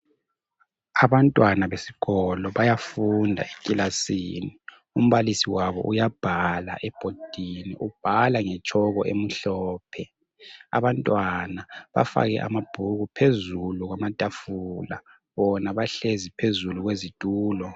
Abantwana besikolo bayafunda ekilasini umbalisi wabo uyabhala ebhodini ubhala ngetshoko emhlophe. Abantwana bafake amabhuku phezulu kwamatafula. Bona bahlezi phezulu kwezitulo.